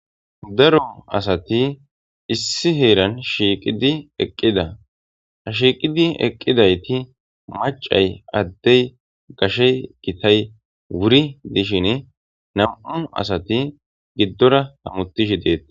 Daaro assati issi heeran shiiqidi eqqida ha shiqqidi eqqidayti macay adey issipe hametishe dettes.